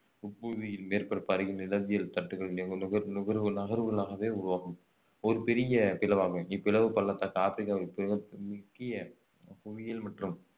உட்புவியின் மேற்பரப்பு அருகில் நிலவியல் தட்டுகள் நிக~ நுகர்வு நுகர்வு நகர்வுகளாகவே உருவாகும் ஒரு பெரிய பிளவு அமையும் இப்பிளவு பள்ளத்தாக்கு ஆப்ரிக்காவின் முக்கிய புவியியல் மற்றும்